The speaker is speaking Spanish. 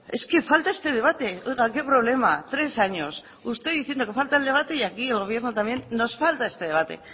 es que falta este debate oiga qué problema tres años usted diciendo que falta el debate y aquí el gobierno también nos falta este debate